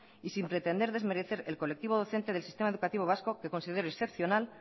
y sin pretender desmerecer el colectivo docente del sistema educativo vasco que considero excepcional